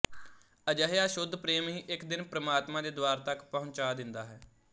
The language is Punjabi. ਅਜਿਹਾ ਸ਼ੁੱਧ ਪ੍ਰੇਮ ਹੀ ਇੱਕ ਦਿਨ ਪ੍ਰਮਾਤਮਾ ਦੇ ਦੁਆਰ ਤਕ ਪਹੁੰਚਾ ਦੇਂਦਾ ਹੈ